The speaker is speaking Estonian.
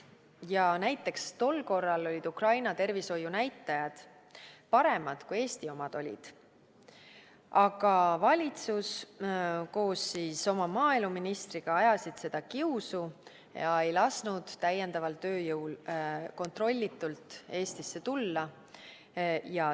Ja näiteks tol korral olid Ukraina tervishoiunäitajad paremad kui Eesti omad, aga valitsus koos oma maaeluministriga ajasid seda kiusu ja ei lasknud täiendaval tööjõul kontrollitult Eestisse tulla.